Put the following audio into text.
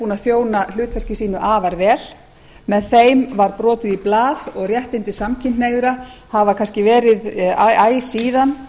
búin að þjóna hlutverki sínu afar vel með þeim var brotið í blað og réttindi samkynhneigðra hafa kannski verið æ síðan